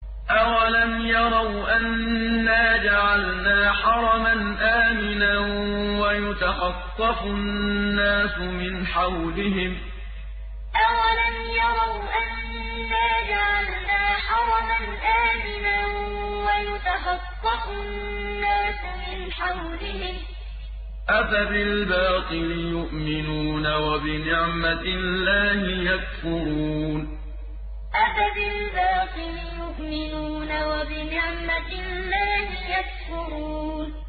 أَوَلَمْ يَرَوْا أَنَّا جَعَلْنَا حَرَمًا آمِنًا وَيُتَخَطَّفُ النَّاسُ مِنْ حَوْلِهِمْ ۚ أَفَبِالْبَاطِلِ يُؤْمِنُونَ وَبِنِعْمَةِ اللَّهِ يَكْفُرُونَ أَوَلَمْ يَرَوْا أَنَّا جَعَلْنَا حَرَمًا آمِنًا وَيُتَخَطَّفُ النَّاسُ مِنْ حَوْلِهِمْ ۚ أَفَبِالْبَاطِلِ يُؤْمِنُونَ وَبِنِعْمَةِ اللَّهِ يَكْفُرُونَ